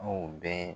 Anw bɛ